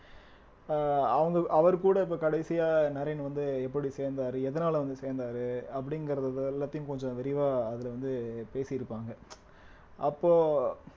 அஹ் அவங்கள் அவர்கூட இப்ப கடைசியா நரேன் வந்து எப்படி சேர்ந்தாரு எதனால வந்து சேர்ந்தாரு அப்படிங்கிறது இது எல்லாத்தையும் கொஞ்சம் விரிவா அதுல வந்து பேசியிருப்பாங்க அப்போ